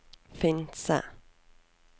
Finse